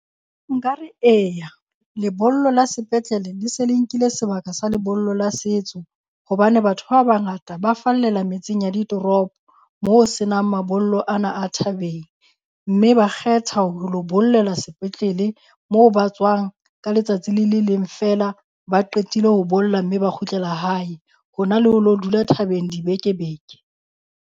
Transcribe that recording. Nkare eya lebollo la sepetlele, le se le nkile sebaka sa lebollo la setso. Hobane batho ba bangata ba fallela metseng ya ditoropo mo ho senang mabollo ana a thabeng. Mme ba kgetha ho lo bollela sepetlele mo ba tswang ka letsatsi le le leng feela ba qetile ho bolla mme ba kgutlela hae. Hona le ho lo dula thabeng dibeke-beke